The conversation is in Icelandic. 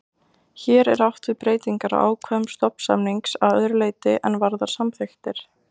Hér er átt við breytingar á ákvæðum stofnsamnings að öðru leyti en varðar samþykktir.